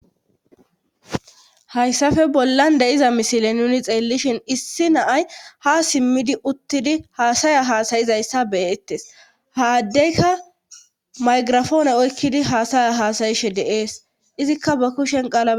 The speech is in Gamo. hayssafe bollan de7iza misile nuni xeellishin issi naay ha simmidi uttidi haasaya haasayizayssa beettes haaddeyka maygirafoone oykkidi haasaya haasayishe deees izikka ba kushen qaala